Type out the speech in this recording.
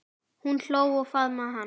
Hún hló og faðmaði hann.